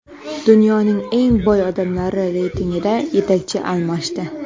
Dunyoning eng boy odamlari reytingida yetakchi almashdi.